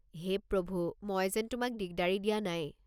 হে প্ৰভু! মই যেন তোমাক দিগদাৰি দিয়া নাই।